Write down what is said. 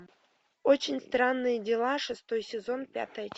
очень странные дела шестой сезон пятая часть